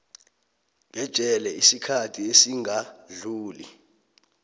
ngejele isikhathi esingadluli